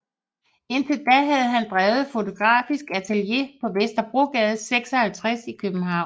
Indtil da havde han drevet fotografisk atelier på Vesterbrogade 56 i København